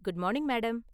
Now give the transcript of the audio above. Good morning, madam.